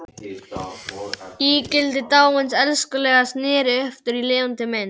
Ígildi dáins elskhuga sneri aftur í lifandi mynd.